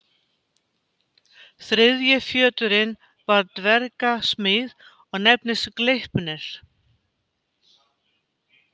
Þriðji fjöturinn var dverga smíð og nefndist Gleipnir.